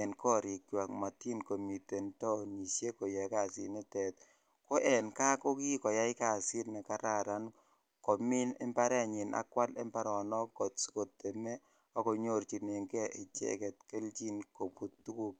en korikwak motin komiten taonishek koyoe kasinitet, ko en kaa ko kikoyai kasit nekararn komiin imbarenyin ak kwaal imbaronok asikoteme ak konyorchineng'e icheket kelchin kobut tukuk.